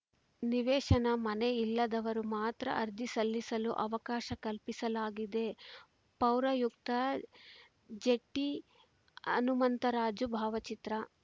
ನಿವೇಶನ ಮನೆ ಇಲ್ಲದವರು ಮಾತ್ರ ಅರ್ಜಿ ಸಲ್ಲಿಸಲು ಅವಕಾಶ ಕಲ್ಪಿಸಲಾಗಿದೆ ಪೌರಾಯುಕ್ತ ಜೆಟಿಹನುಮಂತರಾಜು ಭಾವಚಿತ್ರ